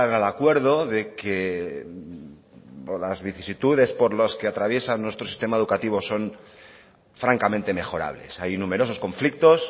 al acuerdo de que las vicisitudes por las que atraviesa nuestro sistema educativa son francamente mejorables hay numerosos conflictos